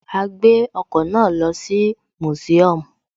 A gbé ọkọ̀ náà lọ sí museum